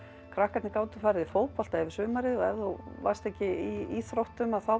krakkarnir gátu farið í fótbolta yfir sumarið og ef þú varst ekki í íþróttum að þá